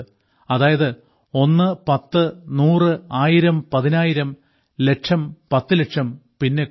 അതായത് ഒന്ന് പത്ത് നൂറ് ആയിരം പതിനായിരം ലക്ഷം പത്ത്ലക്ഷം പിന്നെ കോടി